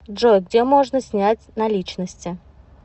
джой где можно снять наличности